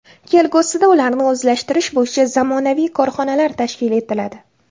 Kelgusida ularni o‘zlashtirish bo‘yicha zamonaviy korxonalar tashkil etiladi.